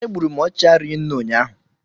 Egburu m ọchịchị rinne ụnyaahụ